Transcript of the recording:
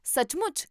ਸੱਚਮੁੱਚ!?